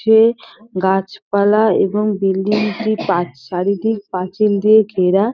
পাশে গাছপালা এবং বিল্ডিং -টি পাঁচ চারিদিক পাঁচিল দিয়ে ঘেরা।